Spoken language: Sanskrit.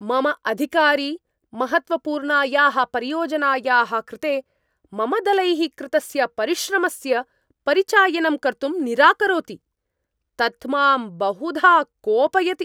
मम अधिकारी महत्त्वपूर्णायाः परियोजनायाः कृते मम दलैः कृतस्य परिश्रमस्य परिचायनं कर्तुं निराकरोति, तत् मां बहुधा कोपयति।